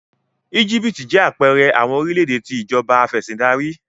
Egipti jẹ apẹẹrẹ awọn orilẹ-ede ti Ìjọba Afẹ̀sìndarí